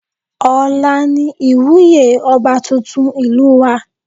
Ọ̀la ni ìwúyé ọba tuntun ìlú wa